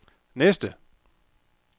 næste